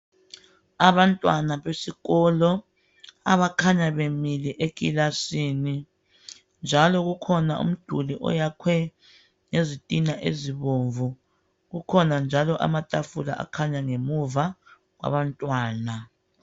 Abantwana besikolo abakhanya bemile ekilasini njalo kukhona umduli oyakhwe ngezitina ezibomvu kukhona njalo amatafula akhanya ngemuva abantwana.